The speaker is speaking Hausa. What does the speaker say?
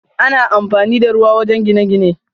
Ana amfani da ruwa wajen gine-gine.